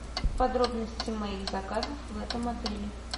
подробности моих заказов в этом отеле